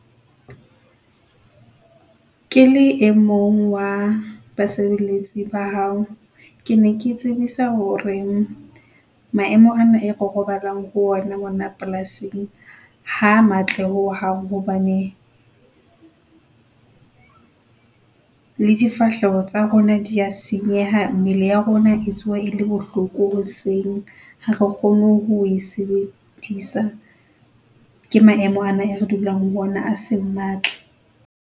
Ke le emong wa basebeletsi ba hao, ke ne ke tsebisa hore maemo ana e re robalang ho wona mona polasing ha a matle ho hang hobane, le difahleho tsa rona dia senyeha, mmele ya rona e tsoha e le bohloko hoseng. Ha re kgone ho e sebedisa ke maemo ana e re dulang ho ona a seng matle.